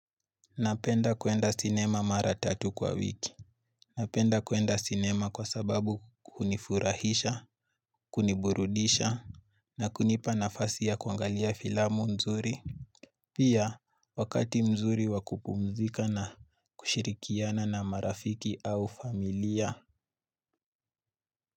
Napenda kuenda cinema mara tatu kwa wiki. Napenda kuenda cinema kwa sababu kunifurahisha, kuniburudisha, na kunipa nafasi ya kuangalia filamu mzuri. Pia, wakati mzuri wa kupumzika na kushirikiana na marafiki au familia.